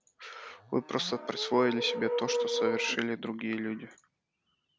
вы просто присвоили себе то что совершили другие люди